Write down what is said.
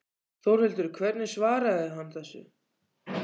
Þórhildur hvernig svaraði hann þessu?